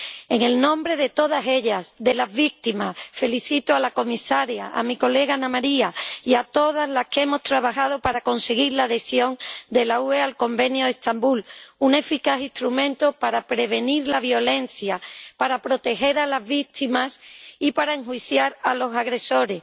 En el nombre de todas ellas, de las víctimas, felicito a la comisaria, a mi colega Anna Maria y a todas las que hemos trabajado para conseguir la adhesión de la UE al Convenio de Estambul, un eficaz instrumento para prevenir la violencia, para proteger a las víctimas y para enjuiciar a los agresores